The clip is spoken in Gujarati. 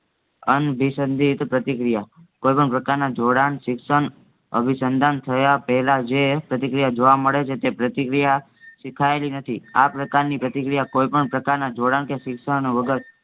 અનઅભિસંધિત પ્રતિક્રિયા કોઈપણ પ્રકારના જોડાણ, શિક્ષણ, અભિસંધાન થાય પેલા જે પ્રતિક્રિયા જોવા મળેછે તે પ્રતિક્રિયા શિખાયેલી નથી આપ્રકારની પ્રતિક્રિયા કોઈપણ પ્રકારના જોડાણકે શિક્ષણવગર